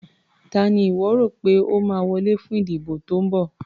Ta ni ìwọ́ rò pé ó máa wọlé fún ìdìbò tó ń bọ̀.